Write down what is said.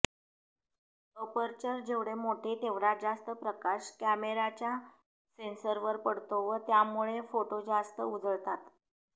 aperture जेवढे मोठे तेवढा जास्त प्रकाश कॅमेराच्या सेन्सरवर पडतो व त्यामुळे फोटो जास्त उजळतात